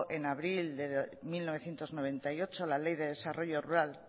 en abril de mil novecientos noventa y ocho la ley de desarrollo rural